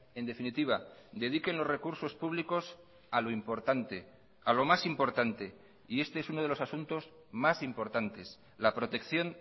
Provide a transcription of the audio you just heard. en definitiva dediquen los recursos públicos a lo importante a lo más importante y este es uno de los asuntos más importantes la protección